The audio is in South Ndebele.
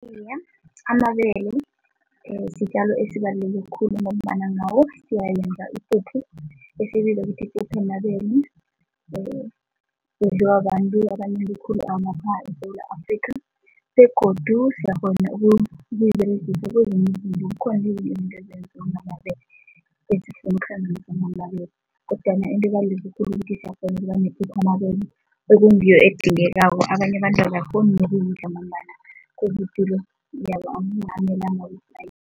Iye, amabele sitjalo esibaluleke khulu ngombana ngawo siyawenza ipuphu ukuthi yipuphu yamabele idliwa babantu abanengi khulu eSewula Afrika begodu siyakghona ukuyiberegisa izinto ezinziwa ngamabele kodwana into ebaluleke khulu ipuphu yamabele okungiyo edingekako, abanye abantu abakghoni nokuyidla ngombana